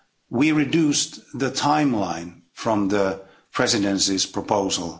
We reduced the timeline from the Presidency's proposal